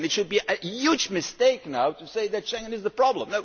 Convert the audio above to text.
It would be a huge mistake now to say that Schengen is the problem.